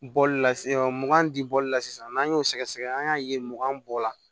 Bɔli la mugan di bɔli la sisan n'an y'o sɛgɛsɛgɛ an y'a ye mugan bɔ la